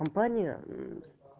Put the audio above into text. компания